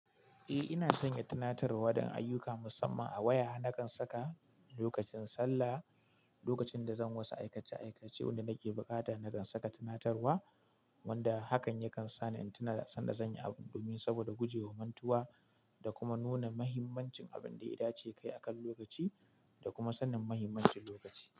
Eh ina sanya tunatarwa don ayyuka musamman a waya nakan saka lokacin sallah, lokacin da zan wasu aikace-aikace wanda nake bukata nakan saka tunatarwa wanda hakan yakan sa ni in tuna sanda zan yi abun domin saboda guje wa mantuwa da kuma nuna muhimmancin abin da yada ce kayi akan lokaci da kuma sanin muhimmancin lokaci.